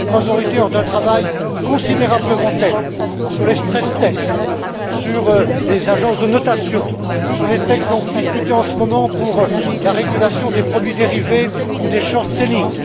Ces trois autorités ont un travail considérable devant elles, sur les stress tests sur les agences de notation, sur les textes dont vous discutez en ce moment pour la régulation des produits dérivés ou des short sellings